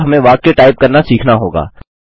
अब हमें वाक्य टाइप करना सीखना होगा